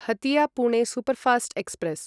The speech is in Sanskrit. Hatia Pune superfast express